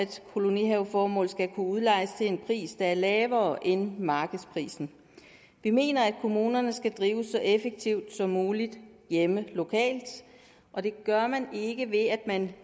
til kolonihaveformål skal kunne udlejes til en pris der er lavere end markedsprisen vi mener at kommunerne skal drives så effektivt som muligt hjemme lokalt og det gør man ikke ved at man